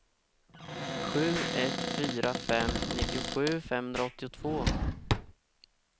sju ett fyra fem nittiosju femhundraåttiotvå